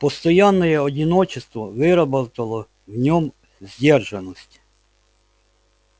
постоянное одиночество выработало в нем сдержанность